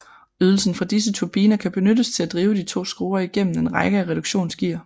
Ydelsen fra disse turbiner benyttes til at drive de to skruer igennem en række af reduktionsgear